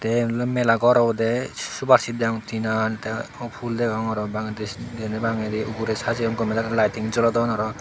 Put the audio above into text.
te iyen oley mela gor obowde supar seat degong tinan te pu phul degong aro bandegi dene bagedi ugure sajeyon gomey daley laiting jolodon aro.